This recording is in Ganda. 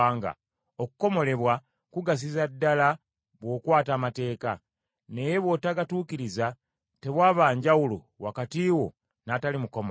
Okukomolebwa kugasiza ddala bw’okwata amateeka, naye bw’otagatuukiriza tewaba njawulo wakati wo n’atali mukomole.